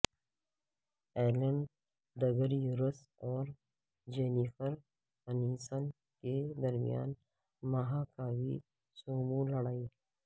Alan DeGeneres اور Jennifer Aniston کے درمیان مہاکاوی سومو لڑائی